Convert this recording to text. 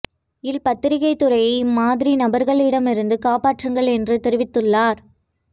ல் பத்திரிகை துறையை இம்மாதிரி நபர்களிடம் இருந்து காப்பாற்றுங்கள் என்று தெரிவித்துள்ளார்